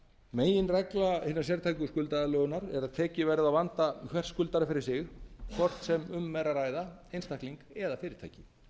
meginregla hinna sértæku skuldaaðlögunar er að tekið verði á vanda hvers skuldara fyrir sig hvort sem um er að ræða einstakling eða fyrirtæki